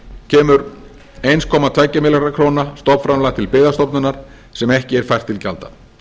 kemur einn komma tvo milljarða króna stofnframlag til byggðastofnunar sem ekki er fært til gjalda